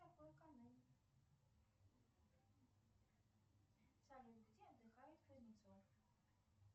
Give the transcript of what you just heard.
салют где отдыхает кузнецов